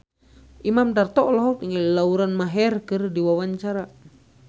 Imam Darto olohok ningali Lauren Maher keur diwawancara